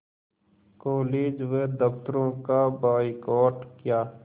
college व दफ़्तरों का बायकॉट किया